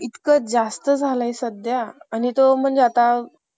इतकं जास्त झालाय सध्या . आणि तो म्हणजे आता